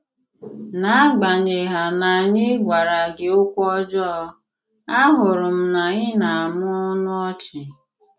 N'àgbànyèghà na ànyị̀ gwàrà gị òkwù ọ̀jọọ, àhụ̀rù m na ị na-àmụ̀ ọnụ ọ̀chì.